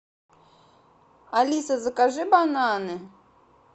алиса закажи бананы